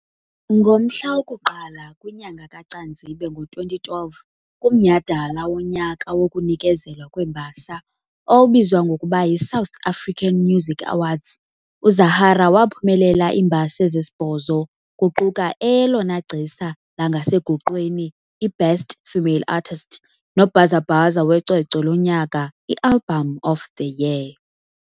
Ngomhla woku-1 kwinyanga kaCanzibe ngo2012, kumnyhadala wonyaka wokunikezelwa kweembasa owawubizwa ngokuba yiSouth African Music Awards, uZahara waphumelela iimbasa ezisibhozo, kuquka eyelona gcisa langasegoqweni i"Best Female Artist" nobhazabhaza wecwecwe lonyaka i"Album of the Year".